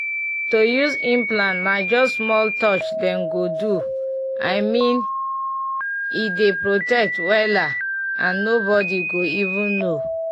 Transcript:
to use implant na just small touch dem go do i mean m e dey protect wela and nobody go even know.